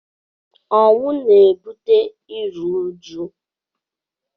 Ọnwụ na-ebute iru uju.